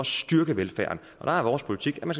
styrke velfærden der er vores politik at man